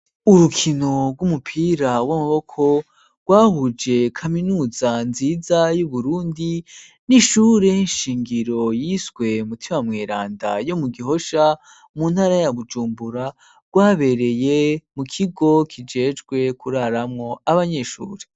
Urukino rw'umupira w'amaboko, rwahuje kaminuza nziza y'Uburundi n'ishure nshingiro yiswe Mutima Mweranda yo mu Gihosha, mu ntara ya Bujumbura rwabereye mu kigo kijejwe kuraramo abanyeshuri.